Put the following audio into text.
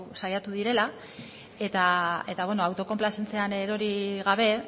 saiatu direla eta autokonplazentzian erori gabe